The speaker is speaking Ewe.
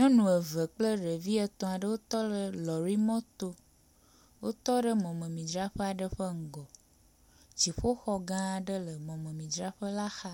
Nyɔnu eve kple ɖevi etɔ̃ aɖewo tɔ ɖe lɔrimɔto, wotɔ ɖe mɔmemidzraƒe aɖe ƒe ŋgɔ, dziƒoxɔ gã aɖe le mɔmemidzraƒe la xa,